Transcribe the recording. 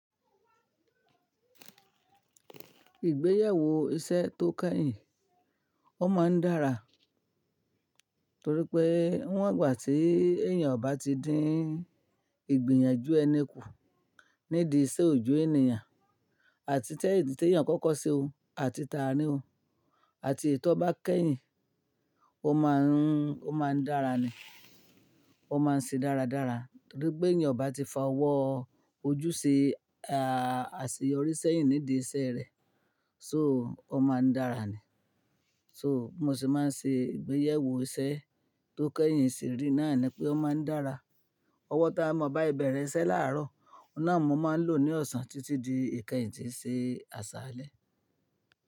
Ìgbéyàwó iṣẹ́ tó kẹ́yìn ó máa ń dára, torí pé n'wọ̀n ìgbà tí èèyàn ò bá ti dín ìgbìyànjú ẹni kù nídi iṣẹ́ oojo ènìyàn àti tí èyí tí èèyàn kọ́kọ́ ṣe o àti ta rí o àti ètò bá kẹ́yìn ó máa ń dára ni. Ó máa ń ṣe dáradára torí pé èèyàn ò bá ti fa ọwọ́ ojú ṣe àṣeyọrí sẹ́yìn nídi iṣẹ́ rẹ̀, so ó máa ń dára ni. So bi mo ṣe máa ń ṣe ìgbéyàwó iṣẹ́ tó kẹ́yìn sì rí náà ni pé ó máa ń dára. Ọwọ́ tí mọ bá ibẹ̀ rẹ iṣẹ́ láàárọ̀, ọ̀nà wo máa ń lò ní ọ̀sán títí di ìkẹyìn tí í ṣe àsálẹ̀.